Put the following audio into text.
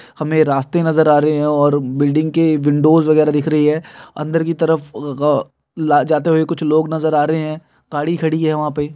हमें रास्ते नजर आ रहे हैं और बिल्डिंग के विंडोज़ वगैरा दिख रही है। अंदर की तरफ ला जाते हुए कुछ लोग नजर आ रहे हैं गाड़ी खड़ी है वहां पे --